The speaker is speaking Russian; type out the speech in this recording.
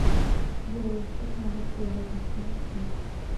герой цветного города найти